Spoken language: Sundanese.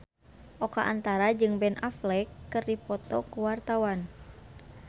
Oka Antara jeung Ben Affleck keur dipoto ku wartawan